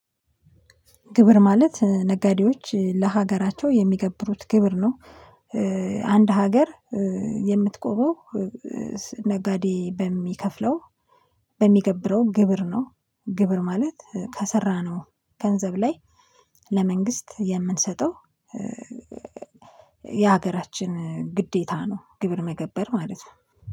ግብር ማለት ነጋዴዎች ለሀገራቸው የሚገብሩት ግብር ነው። አንድ ሀገር የምትቆመው ነጋዴ በሚከፍለው በሚገብረው ግብር ነው። ግብር ማለት ከሰራነው ገንዘብ ላይ ለመንግስት የምንሰጠው። የሀገራችን ግዴታ ነው። ግብር መገበር ማለት ነው